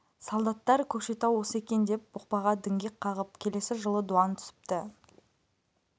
солдаттар көкшетау осы екен деп бұқпаға діңгек қағып келесі жылы дуан түсіпті